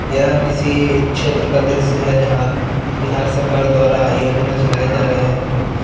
यह किसी छेत्र का दृश्य है जहाँ बिहार सरकार द्वारा योजना चलाए जा रहे हैं पर --